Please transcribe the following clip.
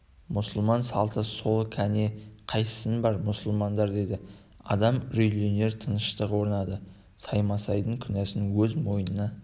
мұсылман салты сол кәне қайсың бар мұсылмандар деді адам үрейленер тыныштық орнады саймасайдың күнәсін өз мойнына